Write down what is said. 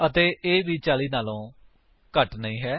ਅਤੇ ਇਹ ਵੀ 40 ਤੋਂ ਘੱਟ ਨਹੀਂ ਹੈ